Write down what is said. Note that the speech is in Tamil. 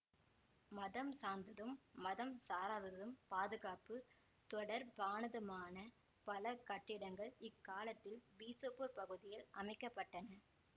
மதம் சார்ந்ததும் மதம் சாராததும் பாதுகாப்பு தொடர்பானதுமான பல கட்டிடங்கள் இக் காலத்தில் பீசப்பூர்ப் பகுதியில் அமைக்க பட்டன